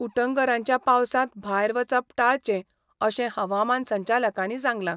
उटंगरांच्या पावसांत भायर वचप टाळचें अशें हवामान संचालकांनी सांगलां.